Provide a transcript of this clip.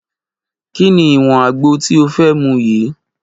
Kí ni ìwọ̀n àgbo tí ó fẹ́ mu yii?